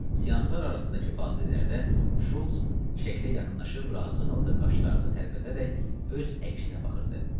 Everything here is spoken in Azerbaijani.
Seanslar arasındakı fasilələrdə Şults şəklə yaxınlaşıb razı halda qaşlarını tərpədərək öz əksinə baxırdı.